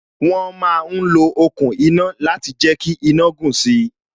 Wọn ma ń lo okùn iná láti jẹ kí iná gùn si